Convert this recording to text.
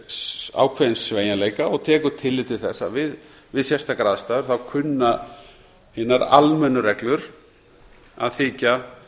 bóginn ákveðinn sveigjanleika og tekur tillit til þess að við sérstakar aðstæður kunna hinar almennu reglur að þykja